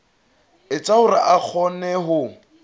etsa hore a kgone ho